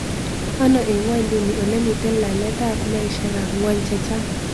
Ano eng' ngw'onyduni olemiten laletab maisyekab ngw'ony che chang